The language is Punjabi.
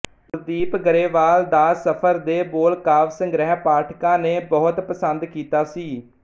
ਗੁਰਦੀਪ ਗਰੇਵਾਲ ਦਾ ਸਫ਼ਰ ਦੇ ਬੋਲ ਕਾਵਿ ਸੰਗ੍ਰਹਿ ਪਾਠਕਾਂ ਨੇ ਬਹੁਤ ਪਸੰਦ ਕੀਤਾ ਸੀ